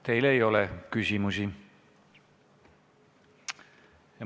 Teile ei ole küsimusi.